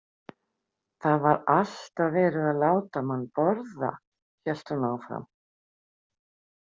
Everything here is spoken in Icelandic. Það var alltaf verið að láta mann borða, hélt hún áfram.